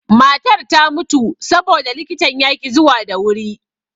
Matar ta mutu saboda likitan yaƙi zuwa da wuri.